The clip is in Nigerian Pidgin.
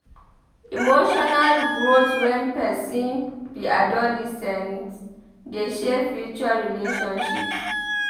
Emotional growth wen pesin be adolescent dey shape future relationships.